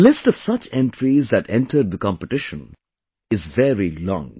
The list of such entries that entered the competition is very long